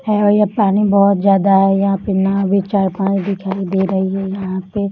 है भी पानी बहुत ज्यादा है यहां पे नाव भी चार-पांच दिखाई दे रही है यहां पे --